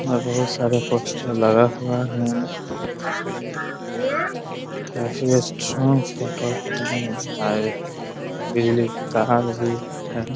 और बहुत सारे पोस्टर लगा हुआ है । काफी स्ट्रांग हय । बिजली का तार भी है ।